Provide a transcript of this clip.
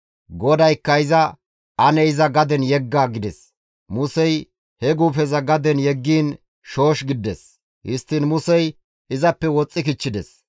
GODAYKKA iza, «Ane iza gaden yegga» gides. Musey he guufeza gaden yeggiin shoosh gidides; histtiin Musey izappe woxxi kichchides.